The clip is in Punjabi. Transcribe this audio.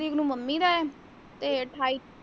ਤਰੀਕ ਨੂੰ mummy ਦਾ ਹੈ ਤੇ ਅਠਾਈ।